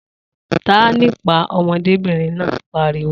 Ta á nípàá! Ọmọdébìnrin náà pariwo